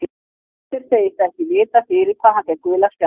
Heimir segist ekki vita fyrir hvað hann fékk gula spjaldið.